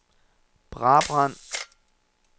Brabrand